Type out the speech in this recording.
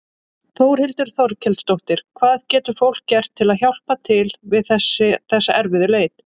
Þórhildur Þorkelsdóttir: Hvað getur fólk gert til að hjálpa til við þessa erfiðu leit?